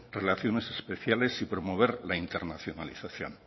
relaciones especiales y promover la internacionalización